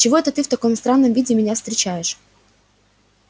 чего это ты в таком странном виде меня встречаешь